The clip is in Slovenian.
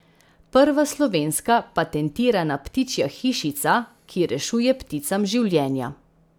Prva slovenska patentirana ptičja hišica, ki rešuje pticam življenja.